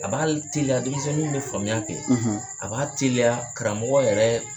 A b'a teliya denmisɛnninw de faamuya kɛ, a b'a teliya karamɔgɔ yɛrɛ